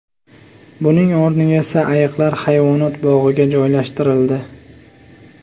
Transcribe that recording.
Buning o‘rniga esa ayiqlar hayvonot bog‘iga joylashtirildi.